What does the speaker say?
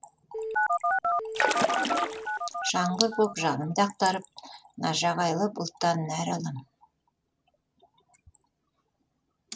жаңбыр боп жанымды ақтарып нажағайлы бұлттан нәр алам